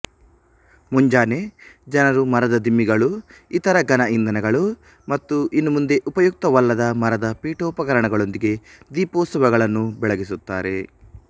ಮುಂಜಾನೆ ಜನರು ಮರದ ದಿಮ್ಮಿಗಳು ಇತರ ಘನಇಂಧನಗಳು ಮತ್ತು ಇನ್ನು ಮುಂದೆ ಉಪಯುಕ್ತವಲ್ಲದ ಮರದ ಪೀಠೋಪಕರಣಗಳೊಂದಿಗೆ ದೀಪೋತ್ಸವಗಳನ್ನು ಬೆಳಗಿಸುತ್ತಾರೆ